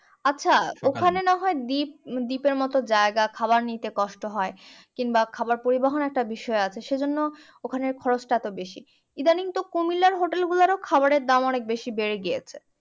আছে ওখানে না হয় দ্বীপ এর মতো জায়গা খাওয়ার নিতে কষ্ট হয় কিংবা খাবার পরিবহন একটা বিষয় আছে সেজন্য ওখানে খরচ টা এতো বেশি ইদানিং তো কুমিল্লার হোটেল গুলোতেও খাবার এর দাম অনেক বেড়ে গিয়েছে